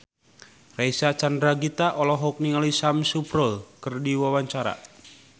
Reysa Chandragitta olohok ningali Sam Spruell keur diwawancara